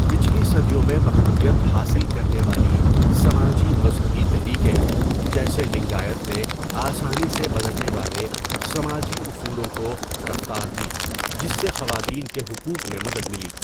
پچھلی صدیوں میں مقبولیت حاصل کرنے والی سماجی مذہبی تحریکیں، جیسے لنگایت، نے آسانی سے بدلنے والے سماجی اصولوں کو رفتار دی جس سے خواتین کے حقوق میں مدد ملی.